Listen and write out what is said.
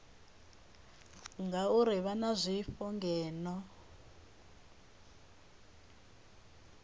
ngauri vha na zwifho ngeno